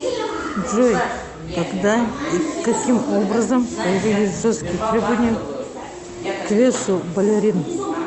джой когда и каким образом появились жесткие требования к весу балерин